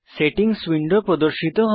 settings window প্রদর্শিত হয়